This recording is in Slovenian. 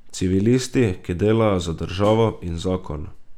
Civilisti, ki delajo za Državo in Zakon.